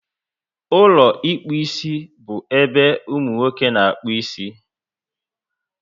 Ụlọ ịkpụ isi bu ébé umunwoke na-akpu ịsị